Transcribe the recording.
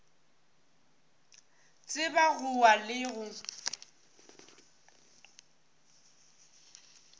tseba go wa le go